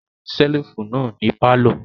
A le rí ṣẹ́lífù náà ní pálọ̀.